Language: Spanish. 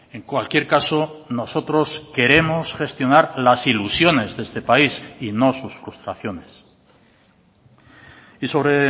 en cualquier caso nosotros queremos gestionar las ilusiones de este país y no sus frustraciones y sobre